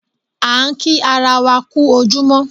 A ń kí ara wa kú ojúmọ́